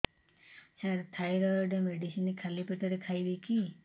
ସାର thyroid medicine ଖାଲି ପେଟରେ ଖାଇବି କି